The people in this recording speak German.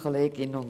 Herzlichen Dank.